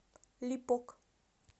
липок